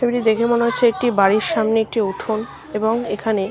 ছবিটি দেখে মনে হচ্ছে একটি বাড়ির সামনে একটি উঠোন। এবং এইখানে--